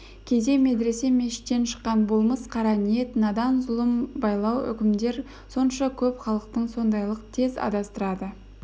кейде медресе мешіттен шыққан болмыс қара ниет надан зұлым байлау үкімдер сонша көп халықты сондайлық тез адастырады